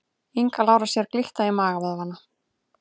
Inga Lára sér glitta í magavöðvana